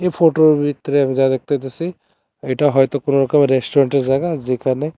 ফোটোর ভিতরে আমি যা দেখতে পাইতাসি এটা হয়তো কোনোরকমের রেস্টুরেন্টের জায়গা যেখানে--